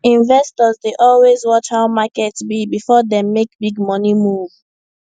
investors dey always watch how market be before dem make big money move